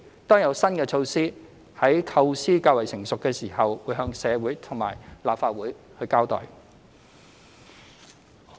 當有新的措施，在構思較成熟時，便會向社會及立法會交代。